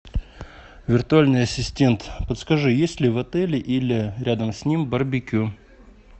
виртуальный ассистент подскажи есть ли в отеле или рядом с ним барбекю